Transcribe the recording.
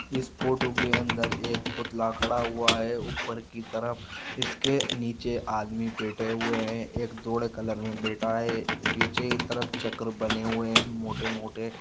इस फोटो के अंदर एक पुतला खड़ा हुआ है ऊपर की तरफ इसके नीचे आदमी बैठे हुए है एक धोले कलर मैं बैठा है पीछे की तरफ चक्र बने हुए है मोट- मोटे।